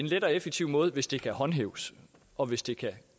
en let og effektiv måde hvis det kan håndhæves og hvis det kan